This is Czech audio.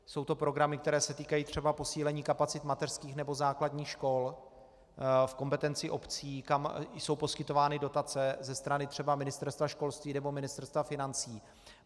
Jsou to programy, které se týkají třeba posílení kapacit mateřských nebo základních škol v kompetenci obcí, kam jsou poskytovány dotace ze strany třeba Ministerstva školství nebo Ministerstva financí.